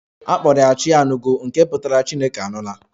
A kpọrọ ya 'Chianugo' nke pụtara 'Chineke anụla'